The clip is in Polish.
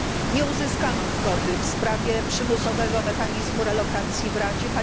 Nie uzyskano zgody w sprawie przymusowego mechanizmu relokacji w Radzie.